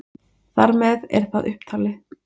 þar með er það upptalið